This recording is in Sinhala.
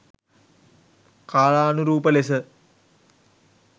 කාලානුරූප ලෙස